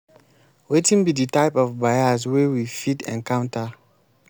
wetin be di type of bias wey we fit encounter?